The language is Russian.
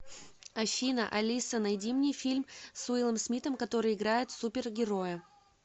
афина алиса найди мне фильм с уиллом смиттом который играет супер героя